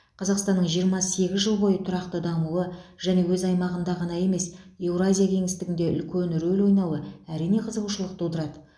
қазақстанның жиырма сегіз жыл бойы тұрақты дамуы және өз аймағында ғана емес еуразия кеңістігінде үлкен рөл ойнауы әрине қызығушылық тудырады